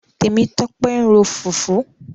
Tẹ̀mítọ́pẹ́ ń ro fùfú.